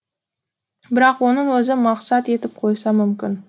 бірақ оның өзі мақсат етіп қойса мүмкін